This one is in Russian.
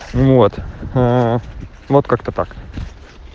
вот мм вот как-то так